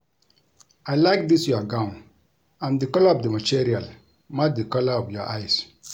I like dis your gown and the colour of the material match the colour of your eyes